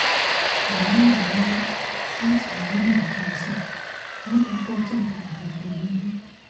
ẹ̀mí ń ràn án lọ́wọ́ láti wà ní ìwọ̀ntúnwọ̀nsì lákòókò tí nǹkan ò rọgbọ nílé